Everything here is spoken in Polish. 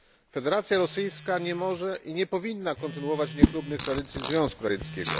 Federacja Rosyjska nie może i nie powinna kontynuować niechlubnych tradycji Związku Radzieckiego.